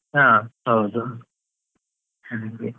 ಹಾ ಹೌದು, ಹಾಗೆ.